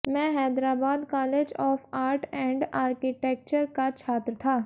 मैं Hyderabad college of art and architecture का छात्र था